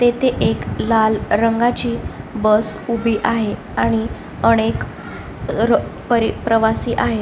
तेथे एक लाल रंगाची बस उभी आहे आणि अनेक प्रवासी आहेत.